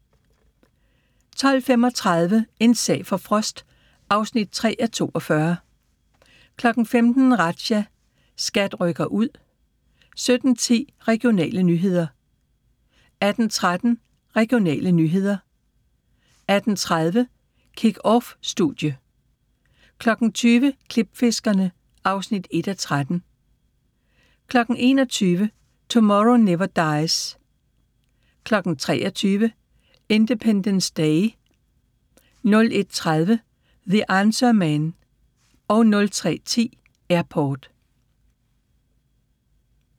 12:35: En sag for Frost (3:42) 15:00: Razzia – SKAT rykker ud 17:10: Regionale nyheder 18:13: Regionale nyheder 18:30: KickOffStudie 20:00: Klipfiskerne (1:13) 21:00: Tomorrow Never Dies 23:00: Independence Day 01:30: The Answer Man 03:10: Airport